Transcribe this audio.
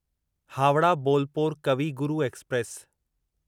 Howrah Bolpur Kavi Guru express